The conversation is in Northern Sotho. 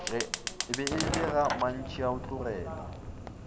be e le ga mantšhaotlogele